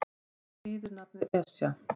Hvað þýðir nafnið Esja?